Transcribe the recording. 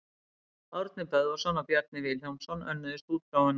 Árni Böðvarsson og Bjarni Vilhjálmsson önnuðust útgáfuna.